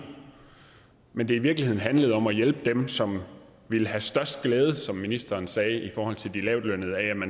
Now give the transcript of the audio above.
men at det i virkeligheden handlede om at hjælpe dem som ville have størst glæde af som ministeren sagde i forhold til de lavtlønnede at